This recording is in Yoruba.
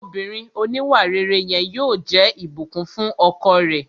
Obìnrin òníwàrere yẹn yóò jẹ́ Ìbùkún fún ọkọ rẹ̀